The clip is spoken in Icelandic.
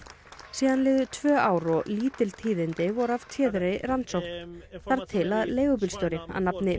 síðan liðu tvö ár og lítil tíðindi voru af téðri rannsókn þar til að leigubílstjóri að nafni